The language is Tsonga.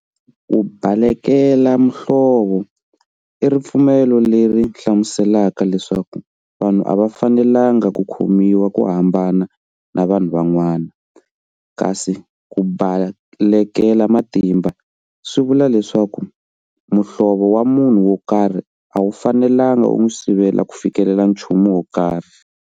Ku balekela muhlovo i ripfumelo leri hlamuuselaka leswaku vanhu a va fanelangi ku khomiwa ku hambana na vanhu van'wana, kasi ku balekela matimba swi vula leswaku muhlovo wa munhu wo karhi a wu fanelangi ku n'wi sivela ku fikelela nchumu wo karhi.